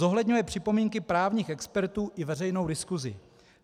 Zohledňuje připomínky právních expertů i veřejnou diskusi.